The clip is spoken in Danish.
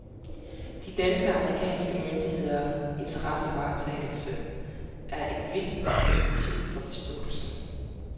De danske og amerikanske myndigheders interessevaretagelse er et vigtigt perspektiv for forståelsen.